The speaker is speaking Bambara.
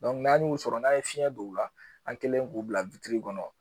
Dɔnku n'an y'u sɔrɔ n'an ye fiɲɛn don u la an kɛlen k'u bila witiri kɔnɔ